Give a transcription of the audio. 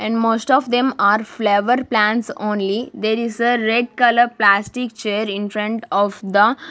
and most of them are flawer plants only there is a red colour plastic chair infront of the --